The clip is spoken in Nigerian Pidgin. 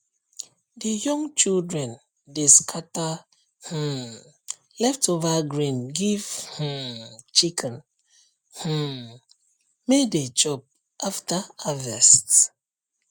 the young children dey scatter um leftover grain give um chicken um may dey chop after harvest